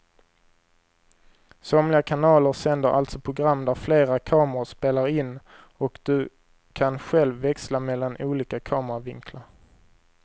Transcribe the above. Somliga kanaler sänder alltså program där flera kameror spelar in och du kan själv växla mellan olika kameravinklar.